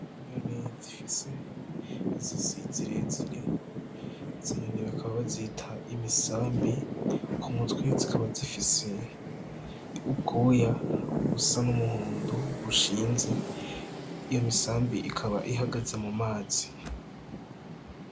Inyoni zifise izosi zire zire izo nyoni bakaba bazita imisambi k'umumutwe zikaba zifise ubwoya busa n' umuhondo bushinze iyo misambi ikaba ihagaze mu mazi.